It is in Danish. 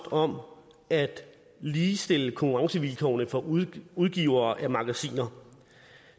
om at ligestille konkurrencevilkårene for udgivere af magasiner